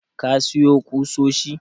ka siyo kusoshi?